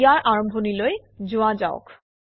ইয়াৰ আৰম্ভণিলৈ যোৱা যাওক